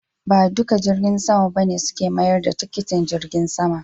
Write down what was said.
Ba dukan jirgin sama ba ne suke mayar da tikitin jirgin sama.